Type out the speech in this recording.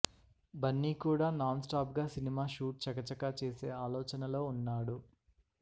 బన్నీ కూడా non stop గా cinema shoot చకచకా చేసే ఆలోచనలో వున్నాడు